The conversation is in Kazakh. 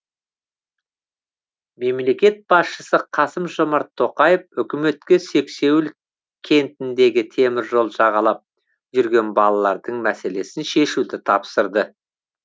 мемлекет басшысы қасым жомарт тоқаев үкіметке сексеуіл кентіндегі теміржол жағалап жүрген балалардың мәселесін шешуді тапсырды